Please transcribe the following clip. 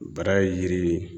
Bara ye yiri ye